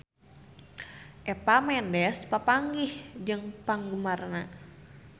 Eva Mendes papanggih jeung penggemarna